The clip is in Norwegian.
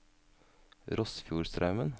Rossfjordstraumen